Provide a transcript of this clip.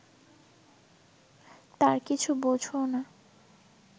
তার কিছু বোঝও না